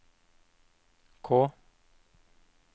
K